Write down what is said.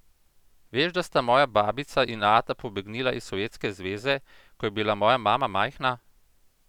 Veš, da sta moja babica in ata pobegnila iz Sovjetske zveze, ko je bila moja mama majhna?